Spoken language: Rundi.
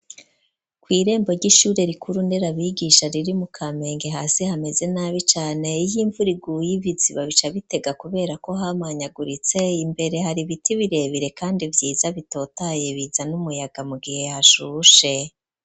Kw'irembo ry'ishure rikuru nderabigisha riri mu Kamenge, hasi hameze nabi cane ,iy'imvuriguye ibiziba bica bitega kubera ko hamanyaguritse, imbere hari biti birebire kandi vyiza bitotaye bizan'umuyaga mu gihe hashushe.